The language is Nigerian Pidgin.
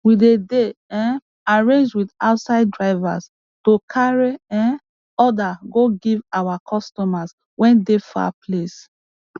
we dey dey um arrange with outside drivers to carry um order go give our customers wey dey far place